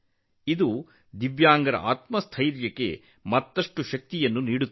ಇದು ವಿಶೇಷ ಚೇತನರ ಆತ್ಮಸ್ಥೈರ್ಯಕ್ಕೆ ಹೆಚ್ಚಿನ ಶಕ್ತಿಯನ್ನು ನೀಡುತ್ತದೆ